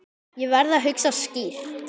Ég verð að hugsa skýrt.